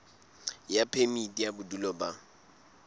ya phemiti ya bodulo ba